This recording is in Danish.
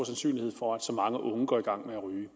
sandsynlighed for at så mange unge går i gang med at ryge